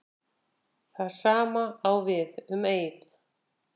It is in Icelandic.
Það sama á við um Eið.